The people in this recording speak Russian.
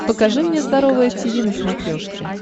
покажи мне здоровое тиви на смотрешке